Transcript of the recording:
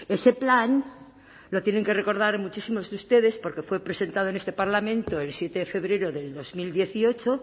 ese plan lo tienen que recordar muchísimos de ustedes porque fue presentado en este parlamento el siete de febrero de dos mil dieciocho